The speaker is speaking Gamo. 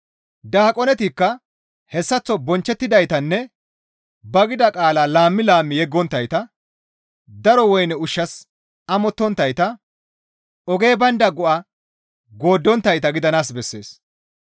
Daaqonetikka hessaththo bonchchettidaytanne ba gida qaalaa laammi laammi yeggonttayta, daro woyne ushshas amottonttayta, ogey baynda go7a gooddonttayta gidanaas bessees.